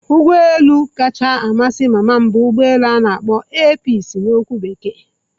Ụgbọ elu kacha amasị mama m bụ ugbo elu ana akpo 'air peaci' na okwu bekee.